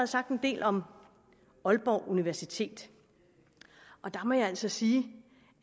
sagt en del om aalborg universitet og der må jeg altså sige